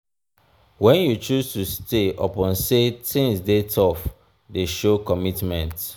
wen you choose to stay upon sey tins dey tough dey show commitment.